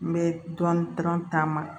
N bɛ dɔɔni dɔrɔn taama